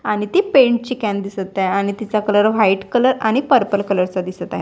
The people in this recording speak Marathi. आणि ती पेंट ची कॅन दिसत आहे आणि तिचा कलर व्हाईट कलर आणि पर्पल कलर चा दिसत आहे.